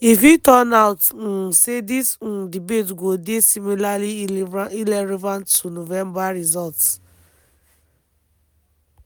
e fit turn out um say dis um debate go dey similarly irrelevant to november results.